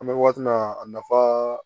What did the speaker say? An bɛ waati min na a nafa